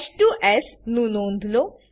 h2એસ નું નોંધ લો